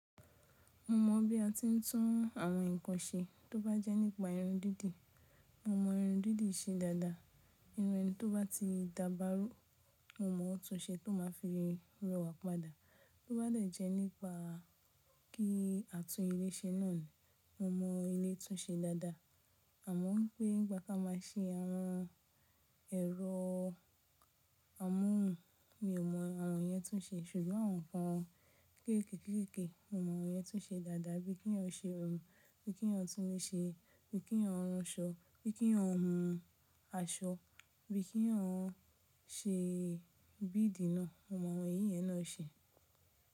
Mo mọ̀ bí a ti ń tún àwọn ǹkan ṣe tó bá jẹ́ nípa irun dídì, mo mọ irun dídì ṣe dáadáa. Irun tí ó bá ti dábárú, mo mọ̀ ó tún ṣe tó máà fi rẹwà padà. Tó bá dẹ̀ jẹ́ nípa kí a tún ilé ṣe náà ni, mo mọ ilé tún ṣe dáadáa. Àmọ́ wipé nípà ka máa ṣe àwọn ẹ̀rọ amóhùn mi ò mọ àwọn yẹn tún ṣe ṣùgbọ́n àwọn ǹkan kéékèèké mo mọ àwọn yẹn tún ṣe dáadáa bí i kíeyàn ṣe òmù, bí i kínyàn tún ní ṣe, bí i kíeyàn rán aṣọ, bí i kíeyàn hun aṣọ, bí i kíeyàn ṣe bídì náà, mo mọ àwọn èyí yẹn náà ṣe.